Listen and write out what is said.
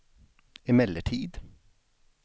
emellertid